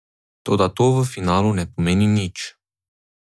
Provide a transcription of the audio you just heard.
Toda to v finalu ne pomeni nič.